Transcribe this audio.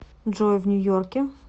джой в нью йорке